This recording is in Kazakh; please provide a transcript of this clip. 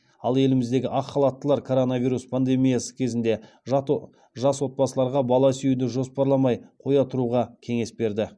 ал еліміздегі ақ халаттылар коронавирус пандемиясы кезінде жас отбасыларға бала сүюді жоспарламай қоя тұруға кеңес берді